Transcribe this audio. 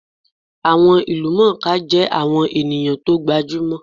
Àwọn ìlúmọọká jẹ́ àwọn ènìyàn tó gbajúmò